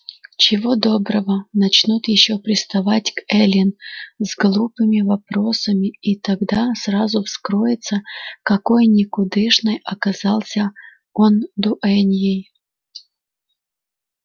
чего доброго начнут ещё приставать к эллин с глупыми вопросами и тогда сразу вскроется какой никудышной оказался он дуэньей